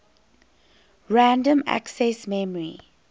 random access memory